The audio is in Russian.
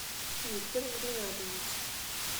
виктор ринатович